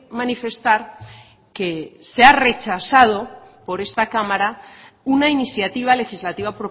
manifestar que se ha rechazado por esta cámara una iniciativa legislativa